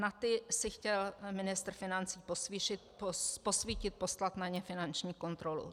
Na ty si chtěl ministr financí posvítit, poslat na ně finanční kontrolu.